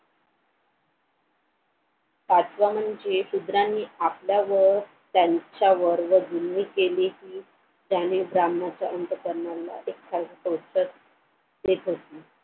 पाचवं म्हणजे शुद्रांनी आपल्यावर त्यांच्यावर गुन्हे केले कि त्याने ब्राम्हणाचा अंतःकारणाला एक खास उत्तर देत होते.